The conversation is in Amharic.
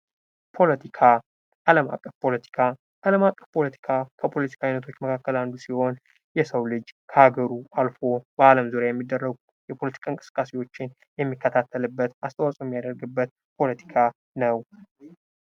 ፖለቲካ ።አለም አቀፍ ፖለቲካ ፡ አለም አቀፍ ፖለቲካ ከፖለቲካ አይነቶች መካከል አንዱ ሲሆን የሰው ልጅ ከሀገሩ አልፎ በአለም ዙሪያ የሚደረጉ የፖለቲካ እንቅስቃሴዎችን የሚከታተልበት አስተዋፅኦ የሚያደርግበት ፖለቲካ ነው ።